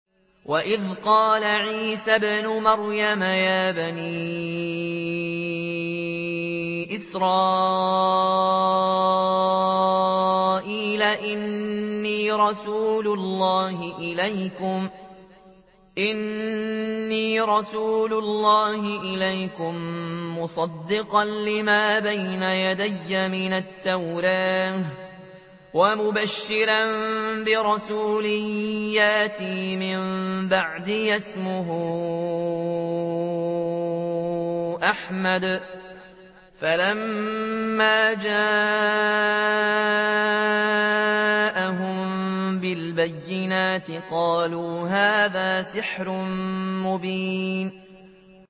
وَإِذْ قَالَ عِيسَى ابْنُ مَرْيَمَ يَا بَنِي إِسْرَائِيلَ إِنِّي رَسُولُ اللَّهِ إِلَيْكُم مُّصَدِّقًا لِّمَا بَيْنَ يَدَيَّ مِنَ التَّوْرَاةِ وَمُبَشِّرًا بِرَسُولٍ يَأْتِي مِن بَعْدِي اسْمُهُ أَحْمَدُ ۖ فَلَمَّا جَاءَهُم بِالْبَيِّنَاتِ قَالُوا هَٰذَا سِحْرٌ مُّبِينٌ